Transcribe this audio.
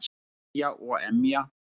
Hlæja og emja.